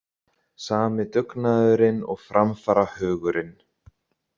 Sami dugnaðurinn og framfarahugurinn.